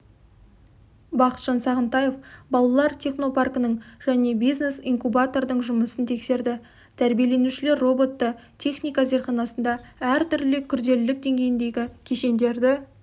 бақытжан сағынтаев балалар технопаркінің және бизнес-инкубатордың жұмысын тексерді тәрбиеленушілер роботты техника зертханасында әртүрлі күрделілік деңгейіндегі кешендерді